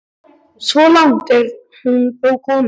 Svo langt er hún þó komin.